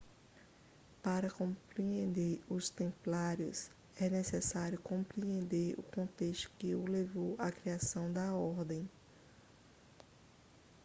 para compreender os templários é necessário compreender o contexto que levou à criação da ordem